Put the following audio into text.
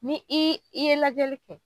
Ni ii i ye lajɛli kɛ